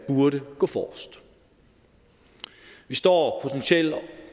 burde gå forrest vi står potentielt